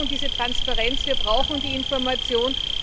Wir brauchen diese Transparenz, wir brauchen die Information.